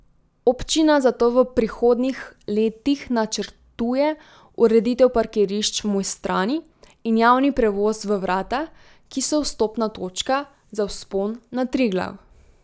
Občina zato v prihodnjih letih načrtuje ureditev parkirišč v Mojstrani in javni prevoz v Vrata, ki so vstopna točka za vzpon na Triglav.